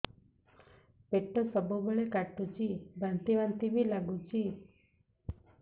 ପେଟ ସବୁବେଳେ କାଟୁଚି ବାନ୍ତି ବାନ୍ତି ବି ଲାଗୁଛି